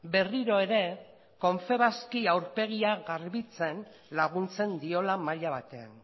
berriro ere confebaski aurpegia garbitzen laguntzen diola maila batean